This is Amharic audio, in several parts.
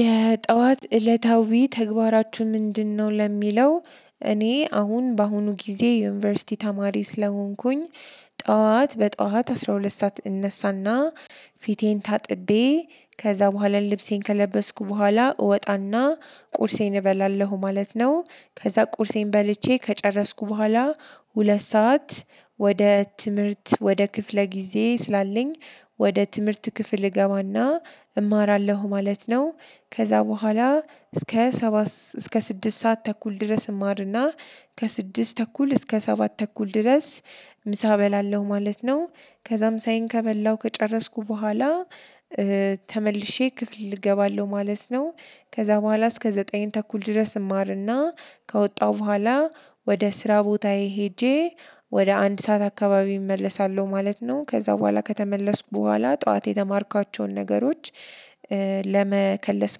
የጠዋት እለታዊ ተግባራችሁ ምንድነው? ለሚለው እኔ አሁን በአሁኑ ጊዜ የዩኒቨርሲቲ ተማሪ ስለሆንኩኝ ጠዋት በጠዋት አስራ ሁለት ሰዓት እነሳና ፊቴን ታጥቤ ከዛ በኋላ ልብሴን ከለበስኩ በኋላ እወጣና ቁርሴን እበላለሁ ማለት ነው። ከዛ ቁርሴን በልቼ ከጨረስኩ በኋላ ሁለት ሰዓት ወደ ትምህርት ወደ ክፍለ ጊዜ ስላለኝ ወደ ትምህርት ክፍል እገባና እማራለሁ ማለት ነው። ከዛ በኋላ እስከ ሰባት ሰዓት እስከ ስድስት ሰዓት ተኩል ድረስ እማርና ከስድስት ተኩል እስከ ሰባት ተኩል ድረስ ምሳ እበላለሁ ማለት ነው። ከዛም ሳሳየን ከበላሁ ከጨረስኩ በኋላ ተመልሼ ክፍል እገባለሁ ማለት ነው። ከዛ በኋላ እስከ ዘጠኝ ተኩል ድረስ እማርና ከወጣሁ በኋላ ወደ ስራ ቦታዬ ሄጄ ወደ አንድ ሰዓት አካባቢ እመለሳለሁ ማለት ነው። ከዛ በኋላ ከተመለስኩ በኋላ ጠዋት የተማርኳቸውን ነገሮች ለመከለስ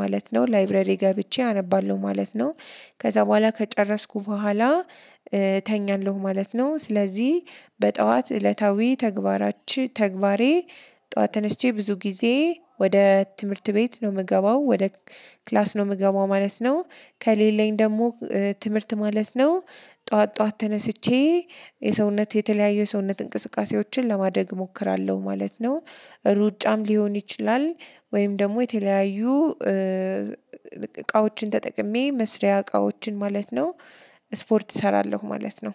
ማለት ነው ላይብረሪ ገብቼ አነባለሁ ማለት ነው። ከዛ በኋላ ከጨረስኩ በኋላ እተኛለሁ ማለት ነው። ጨ ስለዚህ በጠዋት እለታዊ ተግባሬ ጠዋት ተነስቼ ብዙ ጊዜ ወደ ትምህርት ቤት ነው የምገባው፣ ወደ ክላስ ነው የምገባው ማለት ነው። ከሌለኝ ደግሞ ትምህርት ማለት ነው ጠዋት ጠዋት ተነስቼ የሰውነት የተለያየ ሰውነት እንቅስቃሴዎችን ለማደግ እሞክራለሁ ማለት ነው። ሩጫም ሊሆን ይችላል ወይም ደግሞ የተለያዩ እቃዎችን ተጠቅሜ መስሪያ እቃዎችን ማለት ነው። ስፖርት እሰራለሁ ማለት ነው።